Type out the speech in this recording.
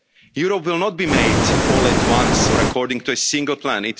said, Europe will not be made all at once according to a single